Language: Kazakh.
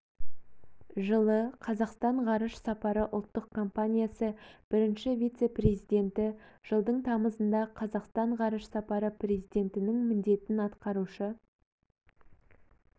жылы қазақстан ғарыш сапары ұлттық компаниясы бірінші вице-президенті жылдың тамызында қазақстан ғарыш сапары президентінің міндетін атқарушы